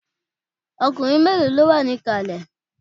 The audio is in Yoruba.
Ọkùnrin mélòó ló wà ní ìkàlẹ̀?